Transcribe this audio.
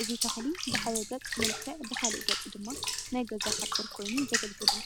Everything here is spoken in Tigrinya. እዚ ተኽሊ ብሓደ ገፅ መልክዕ ብኻልእ ገፅ ድማ ናይ ገዛ ሓፁር ኮይኑ ዘግልግል እዩ፡፡